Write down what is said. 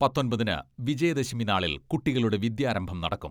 പത്തൊമ്പതിന് വിജയദശമി നാളിൽ കുട്ടികളുടെ വിദ്യാരംഭം നടക്കും.